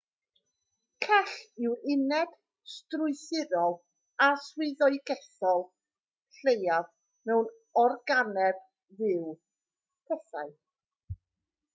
cell yw'r uned strwythurol a swyddogaethol leiaf mewn organeb fyw pethau